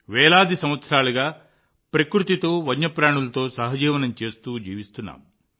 వేల సంవత్సరాలుగా ప్రకృతితో వన్యప్రాణులతో సహజీవనం చేస్తూ జీవిస్తున్నాం